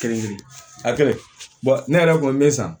Kelen kelen kelen a kɛlen ne yɛrɛ kɔni bɛ san